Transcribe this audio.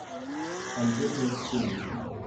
альбека алексеевича